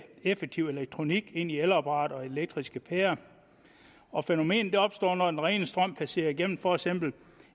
effektiv elektronik ind i elapparater og elektriske pærer fænomenet opstår når den rene strøm passerer igennem for eksempel